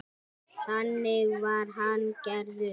Þannig var hann gerður.